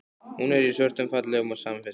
Hún er í svörtum, fallegum samfestingi.